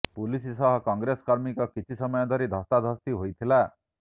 police ସହ କଂଗ୍ରେସ କର୍ମୀଙ୍କ କିଛି ସମୟ ଧରି ଧସ୍ତାଧସ୍ତି ହୋଇଥିଲା